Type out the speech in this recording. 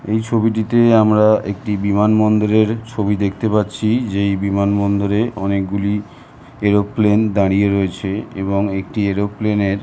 এই ছবিটিতে আমরা একটি বিমান বন্দরের ছবি দেখতে পাচ্ছি যেই বিমানবন্দরে অনেকগুলি এরোপ্লেন দাঁড়িয়ে রয়েছে এবং একটি এরোপ্লেন এর --